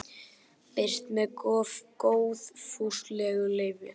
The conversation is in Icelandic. Birt með góðfúslegu leyfi.